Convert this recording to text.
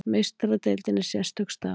Meistaradeildin er sérstök staða.